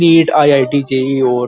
NEET I I T JEE और --